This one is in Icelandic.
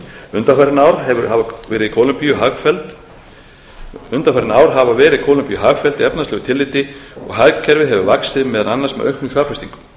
undanfarin ár hafa verið kólumbíu hagfelld í efnahagslegu tilliti og hagkerfið hefur vaxið meðal annars með auknum fjárfestingum